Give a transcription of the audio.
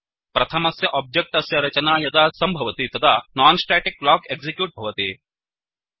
प्रथमस्य ओब्जेक्ट् अस्य रचना यदा सम्भवति तदा non स्टेटिक ब्लॉक एक्सिक्यूट् भवति